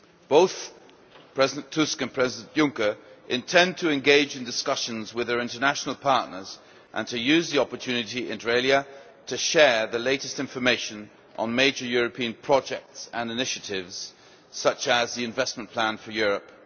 Both President Tusk and President Juncker intend to engage in discussions with their international partners and to use the opportunity, inter alia, to share the latest information on major European projects and initiatives, such as the Investment Plan for Europe.